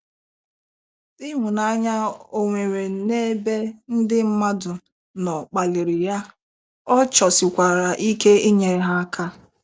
Ịhụnanya o nwere n'ebe ndị mmadụ nọ kpaliri ya, ọ chọsikwara ike ịnyere ha aka.